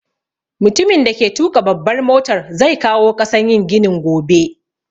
Mutumin da ke tuƙa babbar motar zai kawo ƙasan yin ginin gobe